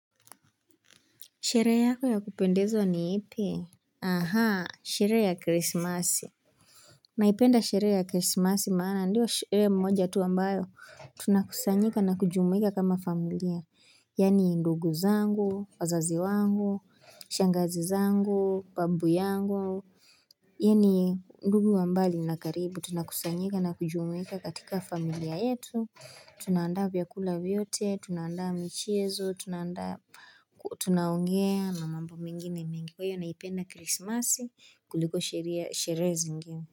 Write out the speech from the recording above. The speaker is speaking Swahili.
Sherehe yako ya kupendezwa ni ipi? Aha, sherehe ya krismasi Naipenda sherehe ya krismasi maana ndio sherehe moja tu ambayo tunakusanyika na kujumuika kama familia Yaani ndugu zangu, wazazi wangu, shangazi zangu, babu yangu Yaani ndugu wa mbali na karibu tunakusanyika na kujumuika katika familia yetu Tunaandaa vyaakula vyote, tunaandaa michezo, tunaongea na mambo mengine mingi. Kwa hiyo naipenda krismasi kuliko sheria sheria zingine.